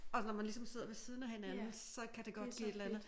Og når man ligesom sidder ved siden af hinanden så kan det godt give et eller andet